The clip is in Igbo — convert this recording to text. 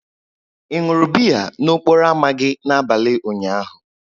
Ị ṅụrụ biya n'okporo ámá gị n'abalị ụnyaahụ?